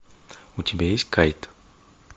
у тебя есть кайт